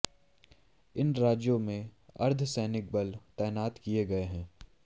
इन राज्यों में अर्धसैनिक बल तैनात किए गए हैं